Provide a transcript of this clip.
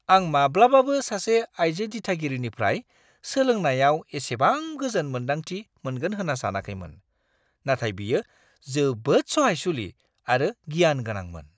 आं माब्लाबाबो सासे आइजो दिथागिरिनिफ्राय सोलोंनायाव एसेबां गोजोन मोन्दांथि मोनगोन होन्ना सानाखैमोन, नाथाय बियो जोबोद सहायसुलि आरो गियान गोनांमोन।